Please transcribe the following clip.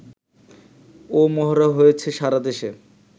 ও মহড়া হয়েছে সারা দেশে